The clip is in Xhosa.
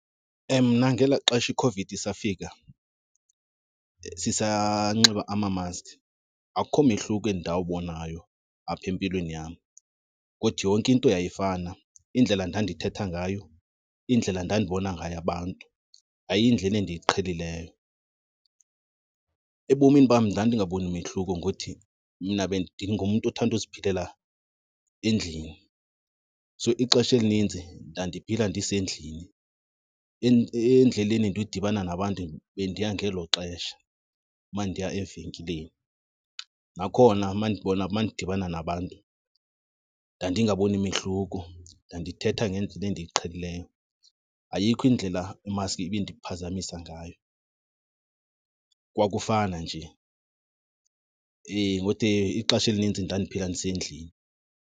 Mna ngelaa xesha iCOVID isafika sisanxiba amamaski akukho mehluko endawubonayo apha empilweni yam, kuthi yonke into yayifana. Indlela endandithetha ngayo, indlela ndandibona ngayo abantu yayiyindlela endiyiqhelileyo. Ebomini bam ndandingaboni mehluko ngothi mna ndingumntu othanda uziphilela endlini, so ixesha elinintsi ndandiphila ndisendlini, endleleni ndiyodibana nabantu bendiya ngelo xesha uba ndiya evenkileni. Nakhona uma ndibona, uma ndidibana nabantu ndandingaboni mehluko, ndandithetha ngendlela endiyiqhelileyo. Ayikho indlela imaski ibindiphazamisa ngayo kwakufana nje. Ukuthi ixesha elinintsi ndandiphila ndisendlini.